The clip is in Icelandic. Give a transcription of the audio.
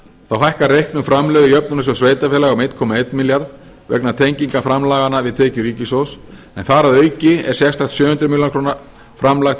þá hækka reiknuð framlög í jöfnunarsjóð sveitarfélaga um einn komma einn milljarð vegna tenginga framlaganna við tekjur ríkissjóðs en þar að auki er sérstakt sjö hundruð ár framlag til